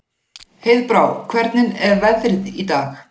Heiðbrá, hvernig er veðrið í dag?